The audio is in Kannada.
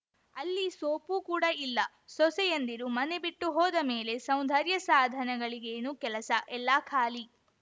ಅಲ್ಲಿ ಸೋಪು ಕೂಡ ಇಲ್ಲ ಸೊಸೆಯಂದಿರು ಮನೆಬಿಟ್ಟು ಹೋದಮೇಲೆ ಸೌಂದರ್ಯಸಾಧನಗಳಿಗೇನು ಕೆಲಸ ಎಲ್ಲಾ ಖಾಲಿ